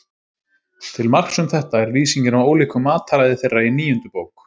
Til marks um þetta er lýsingin á ólíku mataræði þeirra í níundu bók.